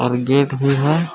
Gate भी है।